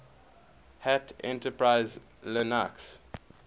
hat enterprise linux